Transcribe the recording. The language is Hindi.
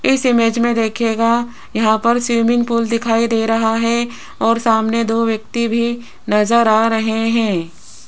इस इमेज में देखिएगा यहां पर स्विमिंग पूल दिखाई दे रहा है और सामने दो व्यक्ति भी नजर आ रहे हैं।